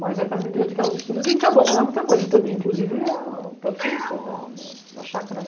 Mas, aí, para a medida que eu fiz os estudos, eu tive que abandonar muita coisa também, inclusive o próprio serviço da chácara.